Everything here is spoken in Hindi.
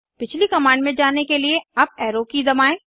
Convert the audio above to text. पिछली कमांड में जाने के लिए अप एरो की दबाएं